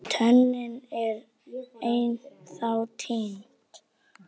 En tönnin er ennþá týnd.